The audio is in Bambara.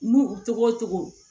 N'u togo togo